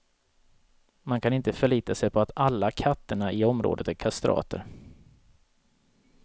Man kan inte förlita sig på att alla katterna i området är kastrater.